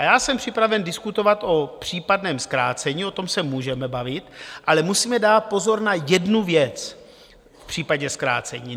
A já jsem připraven diskutovat o případném zkrácení, o tom se můžeme bavit, ale musíme dát pozor na jednu věc v případě zkrácení.